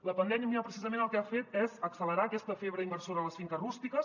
la pandèmia precisament el que ha fet és accelerar aquesta febre inversora a les finques rústiques